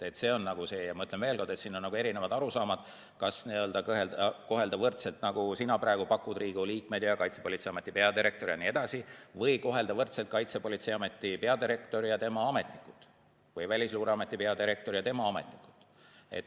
Ja ma ütlen veel kord, et siin on erinevad arusaamad, kas kohelda võrdselt, nagu sina praegu pakud, Riigikogu liikmeid ja Kaitsepolitseiameti peadirektorit, või kohelda võrdselt Kaitsepolitseiameti peadirektorit ja tema ametnikke või Välisluureameti peadirektorit ja tema ametnikke.